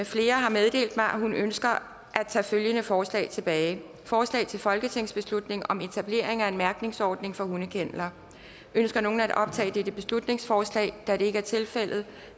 flere har meddelt mig at hun ønsker at tage følgende forslag tilbage forslag til folketingsbeslutning om etablering af en mærkningsordning for hundekenneler ønsker nogen at optage dette beslutningsforslag da det ikke er tilfældet